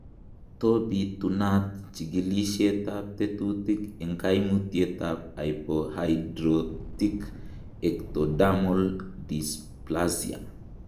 To bitunat chikilisietab tekutik en koimutietab hypohidrotic ectodermal dysplasia?